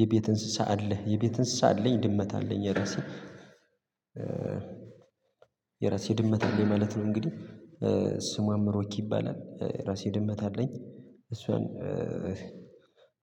የቤት እንስሳ አለህ? የቤት እንስሳ አለኝ ድመት አለኝ የራሴ የራሴ ድመት አለኝ ማለት ነው። እንግዲህ ስሟ ምሮኪ ይባላል። የራሴ ድመት አለኝ እሷን